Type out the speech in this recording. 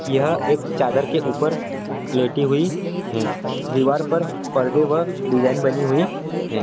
यह एक चादर के उपर लेटी हुई है दीवार पर परदे व डिज़ाइन बनी हुई है।